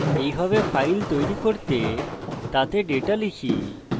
এইভাবে file তৈরী করতে তাতে ডেটা লিখি